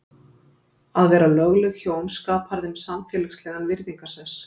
Að vera lögleg hjón skapar þeim samfélagslegan virðingarsess.